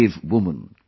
brave woman